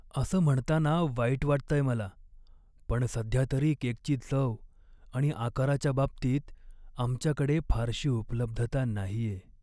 असं म्हणताना वाईट वाटतंय मला, पण सध्यातरी केकची चव आणि आकाराच्या बाबतीत आमच्याकडे फारशी उपलब्धता नाहीये.